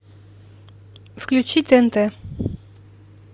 включи тнт